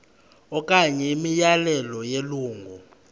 okanye imiyalelo yelungu